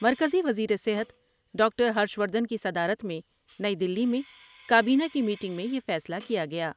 مرکزی وزیر صحت ڈاکٹر ہرش وردھن کی صدارت میں نئی دلی میں کابینہ کی میٹنگ میں یہ فیصلہ کیا گیا ۔